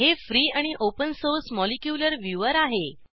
हे फ्री आणि open source molecular viewer आहे